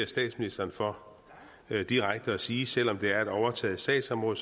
statsministeren for direkte at sige at selv om det er et overtaget sagsområde